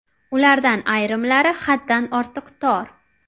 Ulardan ayrimlari haddan ortiq tor.